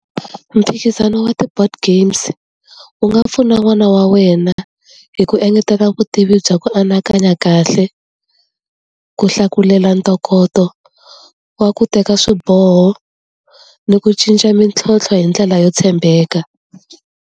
Mphikizano wa ti-board games, wu nga pfuna n'wana wa wena hi ku engetela vutivi bya ku anakanya kahle, ku hlakulela ntokoto wa ku teka swiboho, ni ku cinca mintlhontlho hi ndlela yo tshembeka.